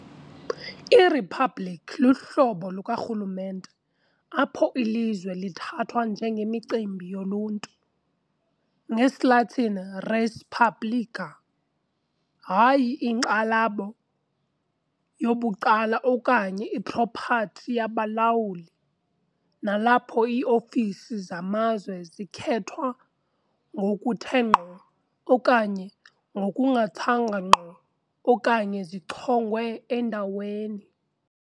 Iriphabliki luhlobo lukarhulumente apho ilizwe lithathwa "njengemicimbi yoluntu", ngesiLatin, "res publica" , hayi inkxalabo yobucala okanye ipropathi yabalawuli, nalapho iiofisi zamazwe zikhethwa ngokuthe ngqo okanye ngokungathanga ngqo okanye zichongwe endaweni